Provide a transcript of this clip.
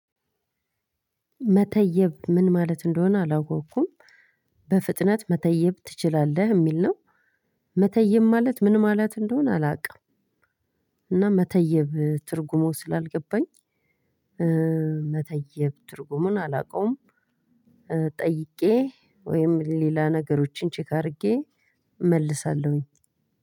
መተየብ ምን ማለት እንደሆነ አላወኩም። በፍጥነት መተየብ ትችላለህ? የሚል ነው። መተየብ ማለት ምን ማለት እንደሆነ አላውቅም። እና መተየብ ትርጉሞች ስላልገባኝ መተየብ ትርጉሙን አላውቀውም። ጠይቄ ወይም ሌላ ነገሮችን ቼክ አድርጌ እመልሳለሁኝ።